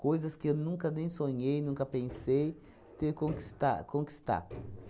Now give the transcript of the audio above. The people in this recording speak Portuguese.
que eu nunca nem sonhei, nunca pensei ter conquistar conquistar.